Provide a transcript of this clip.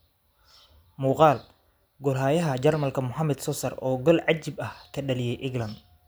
Muqaal: Goolhayaha Jarmalka Muhammet Sozer oo gool cajiib ah ka dhaliyay England